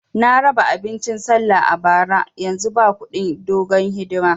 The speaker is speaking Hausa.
Na raba abincin sallah a bara, yanzu ba kudin dogon hidima